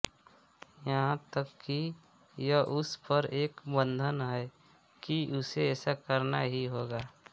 यहां तक कि यह उस पर एक बन्धन है कि उसे ऐसा करना ही होगा